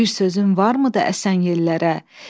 Bir sözüm varmıdır əsən yellərə?